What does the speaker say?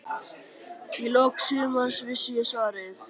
Í lok sumars vissi ég svarið.